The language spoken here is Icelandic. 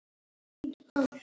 Bolla, bolla!